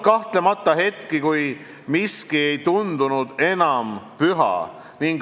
Kahtlemata on olnud hetki, kui miski ei tundunud enam püha.